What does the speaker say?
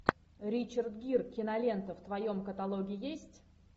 ричард гир кинолента в твоем каталоге есть